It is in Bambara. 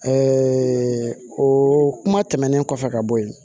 o kuma tɛmɛnen kɔfɛ ka bɔ yen